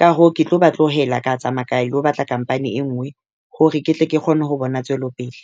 Ka hoo ke tlo ba tlohela ka tsamaya ka ilo batla company e nngwe hore ke tle ke kgone ho bona tswelopele.